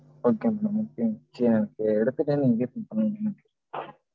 okay mam okay சரி எனக்கு எடுத்துட்டு நீங்க refund பண்ணிவிற்றுங்க